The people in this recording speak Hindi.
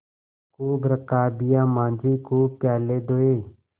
खूब रकाबियाँ माँजी खूब प्याले धोये